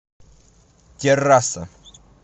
террасса